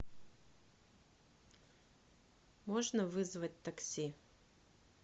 можно вызвать такси